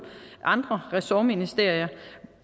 andre ressortministerier